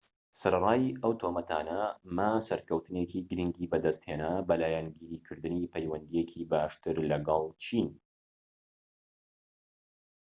سەرەڕای ئەو تۆمەتانە، ما سەرکەوتنێکی گرنگی بەدەستهێنا بە لایەنگیری کردنی پەیوەندییەکی باشتر لەگەڵ چین